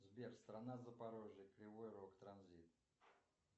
сбер страна запорожье кривой рог транзит